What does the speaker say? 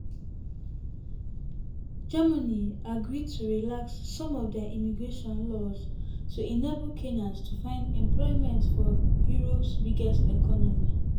germany agree to relax some of dia immigration laws to enable kenyans to find employment for europe biggest economy.